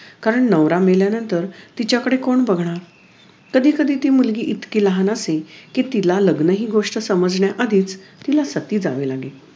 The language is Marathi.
कारण नवरा मेल्यानंतर तिच्याकडे कोण बघणार कधी कधी ती मुलगी इतकी लहान असे कि तिला लग्न हि गोष्ट समजण्याआधी तिला सती जावे लगे